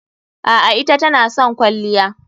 A'a, ita tana son kwalliya.